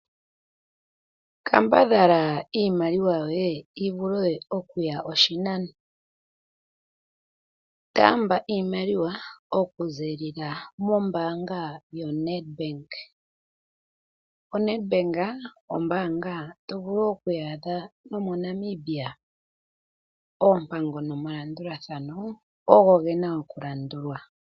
Kambadhala iimaliwa yoye yi vule oku ya oshinano, taamba iimaliwa oku ziilila mombaanga yoNEDBANK. ONEDBANK ombaanga to vulu wo oku yi adha nomoNamibia. Oompango nomalandulathano ogo gena oku landulwa.